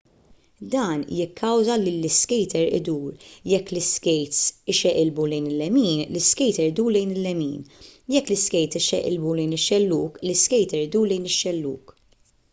dan jikkawża lill-iskejter idur jekk l-iskejts ixeqilbu lejn il-lemin l-iskejter idur lejn il-lemin jekk l-iskejts ixeqilbu lejn ix-xellug l-iskejter idur lejn il-xellug